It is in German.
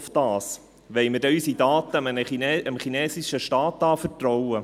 Wollen wir denn unsere Daten dem chinesischen Staat anvertrauen?